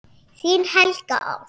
Þín Helga Ósk.